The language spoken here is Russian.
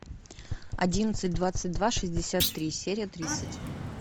одиннадцать двадцать два шестьдесят три серия тридцать